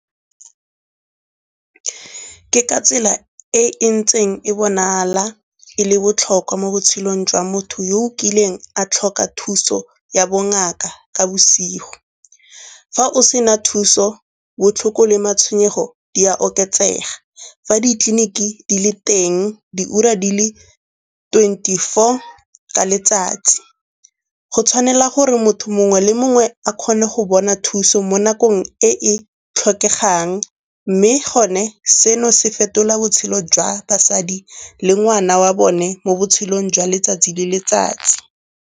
Ke ka tsela e ntseng e bonala e le botlhokwa mo botshelong jwa motho yo o kileng a tlhoka thuso ya bongaka ka bosigo. Fa o sena thuso, botlhoko le matshwenyego di a oketsega. Fa ditleliniki di le teng diura di le twenty-four ka letsatsi go tshwanela gore motho mongwe le mongwe a kgone go bona thuso mo nakong e e tlhokegang. Mme gone seno se fetola botshelo jwa basadi le ngwana wa bone mo botshelong jwa letsatsi le letsatsi.